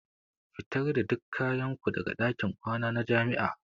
Fitar da duk kayan ku daga ɗakin kwana na jami'a.